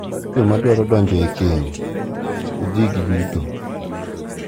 Mar Joma dwaro donjo e keny e udigi duto.